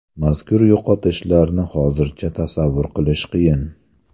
Mazkur yo‘qotishlarni hozircha tasavvur qilish qiyin.